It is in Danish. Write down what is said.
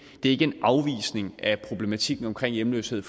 ikke en afvisning af problematikken omkring hjemløshed